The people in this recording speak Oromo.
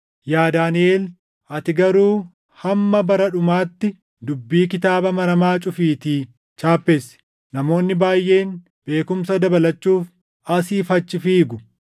Yaa Daaniʼel, ati garuu hamma bara dhumaatti dubbii kitaaba maramaa cufiitii chaappessi. Namoonni baayʼeen beekumsa dabalachuuf asii fi achi fiigu.”